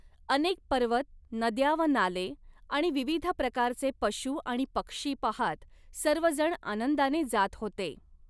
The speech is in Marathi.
अनेक पर्वत, नद्या व नाले आणि विविध प्रकारचे पशू आणि पक्षी पहात सर्वजण आनंदाने जात होते.